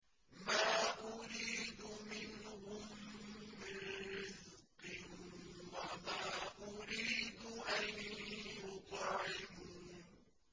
مَا أُرِيدُ مِنْهُم مِّن رِّزْقٍ وَمَا أُرِيدُ أَن يُطْعِمُونِ